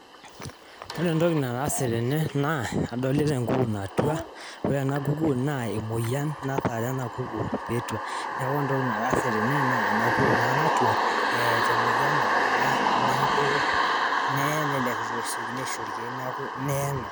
ore entoki nagira aasa tene naa elukunku natua aa taa keeta emowuan naibunga naa mpaka neye